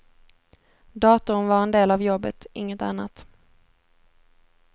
Datorn var en del av jobbet, inget annat.